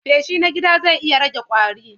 Feshi na gida zai iya rage ƙwari.